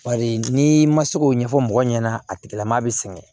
Bari n'i ma se k'o ɲɛfɔ mɔgɔ ɲɛna a tigilamɔgɔ bɛ sɛgɛn